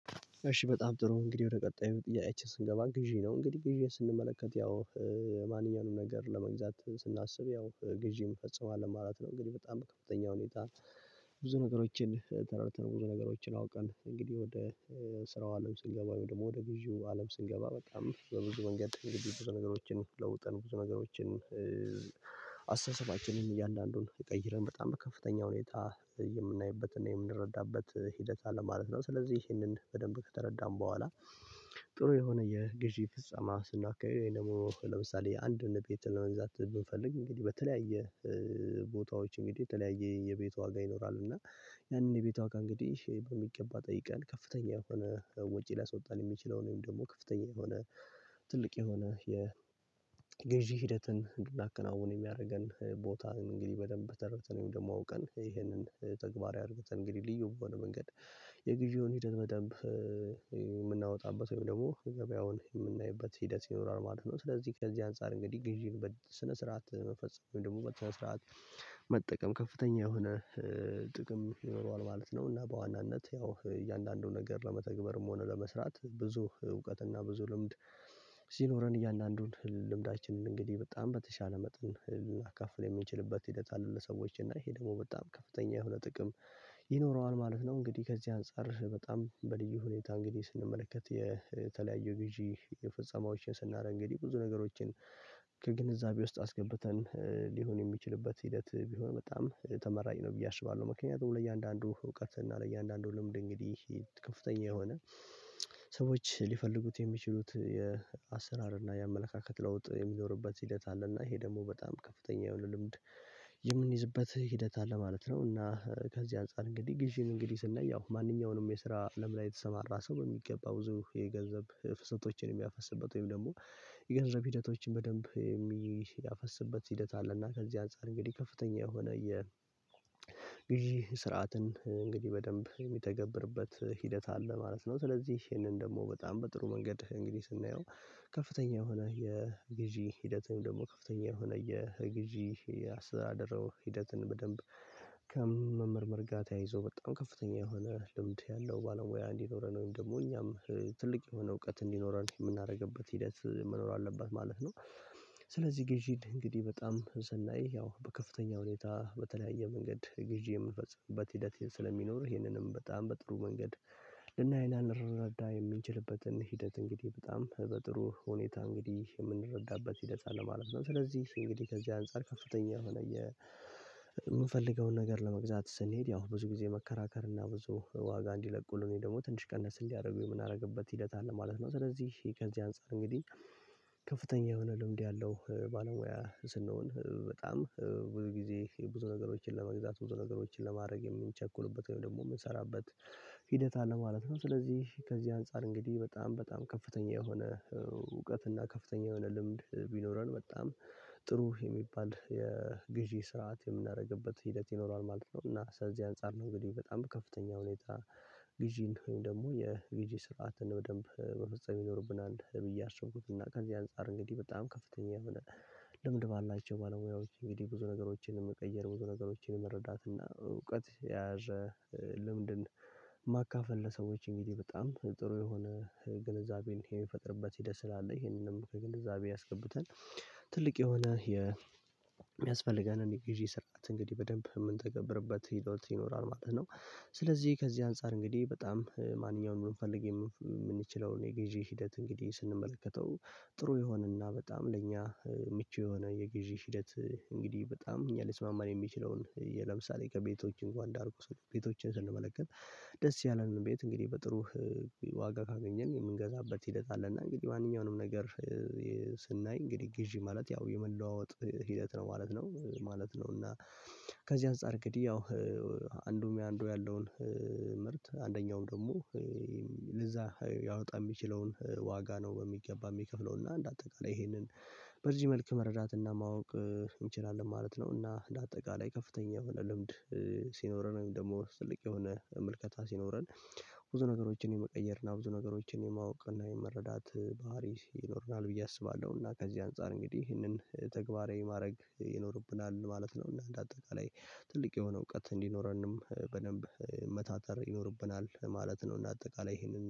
እሺ በጣም ጥሩ እንግዲህ ወደ ቀጣዩ ጥያቄያች ስንገባ ግዢ ነው እንግዲህ ግዢ ስንመለከት ያው ማንኛውንም ነገር ለመግዛት ስናስብ ያው ግዢም ፈጽሟል ማለት ነው። እንግዲህ በጣም ከፍተኛ ሁኔታ ብዙ ነገሮችን ተረድተን ብዙ ነገሮችን አውቀን እንግዲህ ወደ ስራው አለም ስንገባ ወደ ግዢው አለም ስንገባ በጣም በብዙ መንገድ ብዙ ነገሮችን ለውጠን ብዙ ነገሮችን አስተሳሰባችንን እያንዳንዱን ይቀይረን በጣም ከፍተኛ ሁኔታ የምናይበትና የምንረዳበት ሂደት አለ ማለት ነው። ስለዚህ ይህንን በደንብ ከተረዳን በኋላ ጥሩ የሆነ የገዢ ፍጸማ ስናካሂድ ወይ ደግሞ ለምሳሌ አንድ ነገር ቤት ለመግዛት ብንፈልግ በተለያየ ቦታዎች እንግዲህ የተለያየ የቤት ዋጋ ይኖራል እና ያንን የቤት ዋጋ እንግዲህ በሚገባ ጠይቀን ከፍተኛ የሆነ ወጪ ሊያስወጣን የሚችለው ወይም ደግሞ ከፍተኛ የሆነ ትልቅ የሆነ የገዢ ሂደትን እንድናከናውን የሚያደርገን ቦታ እንግዲህ በደንብ ተረድተን ወይም ደግሞ አውቀን ይሄንን ተግባራዊ አርግተን እንግዲህ ልዩ በሆነ መንገድ የጊዜውን ሂደት በደንብ የምናወጣበት ወይም ደግሞ ገበያውን የምናይበት ሂደት ይኖራል ማለት ነው። ስለዚህ ከዚህ አንፃር እንግዲህ ግዢ በስነ ስርዓት መፈጸም ወይም ደግሞ በስነ ስርዓት መጠቀም ከፍተኛ የሆነ ጥቅም ይኖረዋል ማለት ነው። እና በዋናነት ያው እያንዳንዱን ነገር ለመተግበርም ሆነ ለመስራት ብዙ እውቀና ብዙ ልምድ ሲኖረን እያንዳንዱን ልምዳችንን እንግዲህ በጣም በተሻለ መጠን ልናካፍል የምንችልበት ሂደት አለ ለሰዎች እና ይሄ ደግሞ በጣም ከፍተኛ የሆነ ጥቅም ይኖረዋል ማለት ነው። እንግዲህ ከዚህ አንፃር በጣም በልዩ ሁኔታ እንግዲህ ስንመለከት የተለያዩ ግዢ የፍጸማዎችን ስናደርግ እንግዲህ ብዙ ነገሮችን ከግንዛቤ ውስጥ አስገብተን ሊሆን የሚችልበት ሂደት ቢሆን በጣም ተመራጭ ነው ብዬ አስባለሁ። ምክንያቱም ለእያንዳንዱ እውቀት እና ለእያንዳንዱ ልምድ እንግዲህ ከፍተኛ የሆነ ሰዎች ሊፈልጉት የሚችሉት የአሰራር እና የአመለካከት ለውጥ የሚኖርበት ሂደት አለ እና ይሄ ደግሞ በጣም ከፍተኛ የሆነ ልምድ የምንይዝበት ሂደት አለ ማለት ነው። እና ከዚህ አንፃር እንግዲህ ግዢን እንግዲህ ስናይ ያው ማንኛውንም የስራ ለምላ የተሰማራ ሰው በሚገባ ብዙ የገንዘብ ፍሰቶችን የሚያፈስበት ወይም ደግሞ የገንዘብ ሂደቶችን በደንብ የሚያፈስበት ሂደት አለና ከዚህ አንፃር እንግዲህ ከፍተኛ የሆነ የግዥ ስርዓትን እንግዲህ በደንብ የሚተገብርበት ሂደት አለ ማለት ነው። ስለዚህ ይህንን ደግሞ በጣም በጥሩ መንገድ እንግዲህ ስናየው ከፍተኛ የሆነ የግዥ ሂደት ወይም ደግሞ ከፍተኛ የሆነ የግዥ አስተዳደር ሂደትን በደንብ ከመመርመር ጋር ተያይዞ በጣም ከፍተኛ የሆነ ልምድ ያለው ባለሙያ እንዲኖረን ወይም ደግሞ እኛም ትልቅ የሆነ እውቀት እንዲኖረን የምናደርግበት ሂደት መኖር አለበት ማለት ነው። ስለዚህ ግዢን እንግዲ እንግዲህ በጣም ስናይ ያው በከፍተኛ ሁኔታ በተለያየ መንገድ ግዢ የምንፈጽምበት ሂደት ስለሚኖር ይሄንንም በጣም በጥሩ መንገድ ልናይ እና ልንረዳ የምንችልበትን ሂደት እንግዲህ በጣም በጥሩ ሁኔታ እንግዲህ የምንረዳበት ሒደት አለ ማለት ነው። ስለዚህ እንግዲህ ከዚህ አንፃር ከፍተኛ የሆነ የምንፈልገውን ነገር ለመግዛት ስንሄድ ያው ብዙ ጊዜ መከራከር እና ብዙ ዋጋ እንዲለቁልን ደግሞ ትንሽ ቀነስ እንዲያደርጉን ምናረግበት ሂደት አለ ማለት ነው። ስለዚህ ከዚህ አንፃር እንግዲህ ከፍተኛ የሆነ ልምድ ያለው ባለሙያ ስንሆን በጣም ብዙ ጊዜ ብዙ ነገሮችን ለመግዛት ብዙ ነገሮችን ለማድረግ የምንቸኩልበት ወይም ደግሞ የምንሰራበት ሂደት አለ ማለት ነው። ስለዚህ ከዚህ አንፃር እንግዲህ በጣም በጣም ከፍተኛ የሆነ እውቀት እና ከፍተኛ የሆነ ልምድ ቢኖረን በጣም ጥሩ የሚባል የግዢ ስርዓት የምናደርግበት ሂደት ይኖራል ማለት ነው። እና ከዚህ አንፃር ነው እንግዲህ በጣም ከፍተኛ ሁኔታ ግዢ ከሆነን ደግሞ የግዢ ስርዓትን በደንብ መፈጸም ይኖርብናል ብዬ አሰብኩትና። ከዚህ አንፃር እንግዲህ በጣም ከፍተኛ ልምድ ባላቸው ባለሙያዎች እንግዲህ ብዙ ነገሮችን መቀየር ብዙ ነገሮችን መረዳት እና እውቀት ያዘ ልምድን ማካፈል ለሰዎች እንግዲህ በጣም ጥሩ የሆነ ግንዛቤን የሚፈጥርበት ሄደት ስላለ ይሄንንም ከግንዛቤ አስገብተን ትልቅ የሆነ የሚያስፈልገንን የጊዜ ስርዓት እንግዲህ በደንብ የምንተገብርበት ሒደት ይኖራል ማለት ነው። ስለዚህ ከዚህ አንፃር እንግዲህ በጣም ማንኛውንም ልንፈልግ የምንችለውን የጊዜ ሂደት እንግዲህ ስንመለከተው ጥሩ ይሆንና በጣም ለእኛ ምቹ የሆነ የግዢ ሂደት እንግዲህ በጣም እኛ ልስማማን የሚችለውን ለምሳሌ ከቤቶች እንኳን እንዳርቁ ሰዎች ቤቶችን ስንመለከት ደስ ያለንን ቤት እንግዲህ በጥሩ ዋጋ ካገኘን የምንገዛበት ሂደት አለና እንግዲህ ማንኛውንም ነገር ስናይ እንግዲህ ግዢ ማለት ያው የመለዋወጥ ሂደት ነው ማለት ነው። ማለት ነው እና ከዚህ አንፃር እንግዲህ ያው አንዱ አንዱ ያለውን ምርት አንደኛውም ደግሞ ለዛ ያወጣ የሚችለውን ዋጋ ነው በሚገባ የሚከፍለው እና እንደ አጠቃላይ ይሄንን በርጅም መልኩ መረዳት እና ማወቅ እንችላለን ማለት ነው። እና ለአጠቃላይ ከፍተኛ የሆነ ልምድ ሲኖረን ወይም ደግሞ ጥልቅ የሆነ ምልከታ ሲኖረን ብዙ ነገሮችን የመቀየር እና ብዙ ነገሮችን የማወቅ እና የመረዳት ባህሪ ይኖርናል ብዬ አስባለሁ። እና ከዚህ አንፃር እንግዲህ ይህንን ተግባራዊ ማድረግ ይኖርብናል ማለት ነው እና እንደ አጠቃላይ ትልቅ የሆነ እውቀት እንዲኖረንም በደንብ መታተር ይኖርብናል ማለት ነው። እና አጠቃላይ ይሄንን